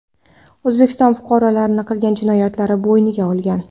O‘zbekiston fuqarolari qilgan jinoyatlarini bo‘yniga olgan.